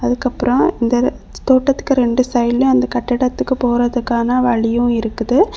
அதுக்கப்பறம் இந்த தோட்டத்துக்கு ரெண்டு சைடுல அந்த கட்டடத்துக்கு போறதுக்கான வழியு இருக்குது.